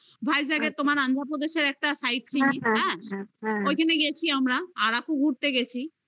ওটা vijack -এর তোমার অন্ধ্রপ্রদেশের একটা site city হ্যাঁ ওইখানে গেছি আমরা আরাকু ঘুরতে গেছি